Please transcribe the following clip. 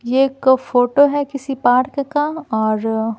ये एक फोटो है किसी पार्क का और--